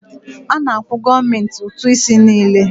A na-akwụ gọọmenti ụtụ isi niile.